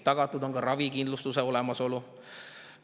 Tagatud on ka ravikindlustuse olemasolu.